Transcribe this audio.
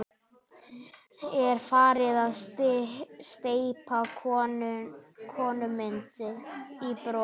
Er farin að steypa konumynd úr bronsi.